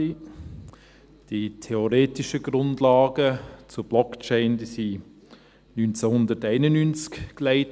Die theoretischen Grundlagen zu Blockchain wurden 1991 gelegt.